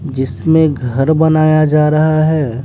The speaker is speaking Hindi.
जिसमें घर बनाया जा रहा है।